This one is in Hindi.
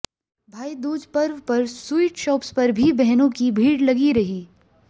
भाई दूज पर्व पर स्वीट शॉप्स पर भी बहनों की भीड़ लगी रही